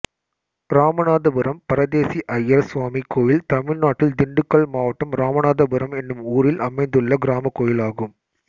இராமநாதபுரம் பரதேசி அய்யர் சுவாமி கோயில் தமிழ்நாட்டில் திண்டுக்கல் மாவட்டம் இராமநாதபுரம் என்னும் ஊரில் அமைந்துள்ள கிராமக் கோயிலாகும்